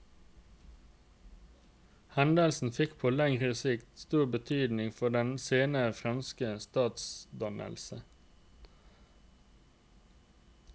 Hendelsen fikk på lengre sikt stor betydning for den senere franske statsdannelse.